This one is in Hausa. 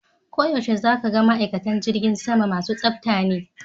Koyaushe za ka ga ma'aikatan jirgin sama masu tsafta ne.